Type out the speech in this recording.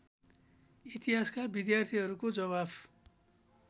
इतिहासका विद्यार्थीहरूको जवाफ